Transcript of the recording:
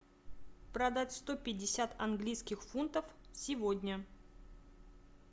продать сто пятьдесят английских фунтов сегодня